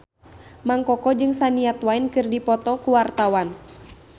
Mang Koko jeung Shania Twain keur dipoto ku wartawan